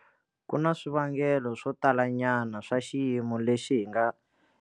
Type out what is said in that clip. Ku na swivangelo swo talanyana swa xiyimo lexi hi nga.